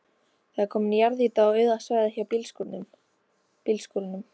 Það er komin jarðýta á auða svæðið hjá bílskúrunum.